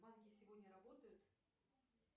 банки сегодня работают